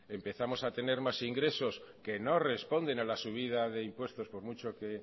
empezamos a tener más ingresos que no responden a la subida de impuestos por mucho que